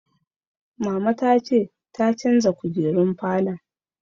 Mama ta ce ta canza kujerun falon